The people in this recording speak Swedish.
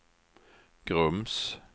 Grums